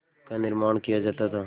का निर्माण किया जाता था